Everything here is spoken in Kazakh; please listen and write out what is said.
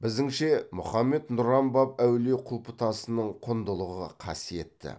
біздіңше мұхаммед нұран баб әулие құлпытасының құндылығы қасиетті